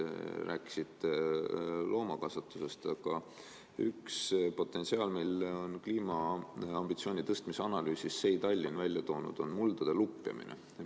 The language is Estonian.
Te rääkisite loomakasvatusest, aga üks tegur, mille on kliimaambitsioonide tõstmise analüüsis SEI Tallinn välja toonud, on muldade lupjamine.